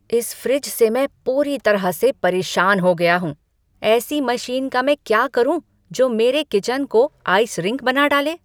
इस फ्रिज से मैं पूरी तरह से परेशान हो गया हूँ। ऐसी मशीन का मैं क्या करूँ जो मेरे किचन को आइस रिंक बना डाले?